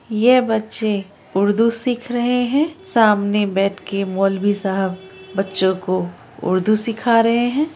ये बच्चे उर्दू सिख रहे है सामने बैठ के मोलवी साहब बच्चों को उर्दू सीखा रहे है ।